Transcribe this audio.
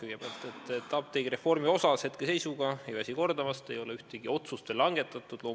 Hetke seisuga ei ole apteegireformi osas – ma ei väsi seda kordamast – ühtegi otsust veel langetatud.